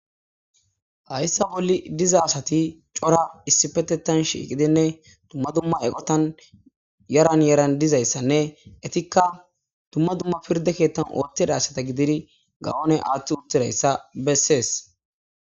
hayssa bolli diza asati cora issi petetan shiiqidinne tumma dumma eqotan yaran yaran dizayssanne etikka tumma dumma pirde keettan ootedasata gidiri gawone aaththi uttirayssa bessees